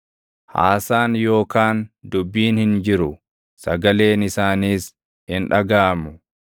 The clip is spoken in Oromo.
Haasaan yookaan dubbiin hin jiru; sagaleen isaaniis hin dhagaʼamu.